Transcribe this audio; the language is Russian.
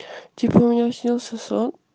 типо мне снился сон